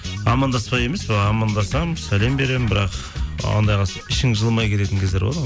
амандаспай емес былай амандасамын сәлем беремін бірақ ішің жылымай кететін кездер болады ғой